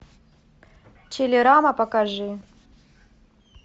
телерама покажи